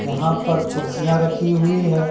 यहां पर कुर्सियां रखी हुई हैं।